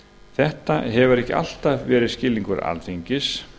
þetta hefur ekki alltaf verið skilningur alþingis